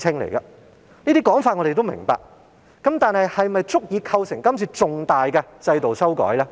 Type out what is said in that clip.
我們明白有這種情況，但是否足以構成今次重大的制度修改呢？